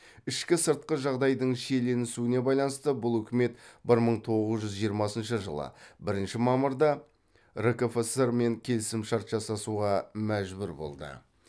ішкі сыртқы жағдайдың шиеленісуіне байланысты бұл үкімет бір мың тоғыз жүз жиырмасыншы бірінші мамырда ркфср мен келісімшарт жасасуға мәжбүр болды